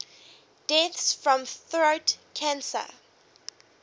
deaths from throat cancer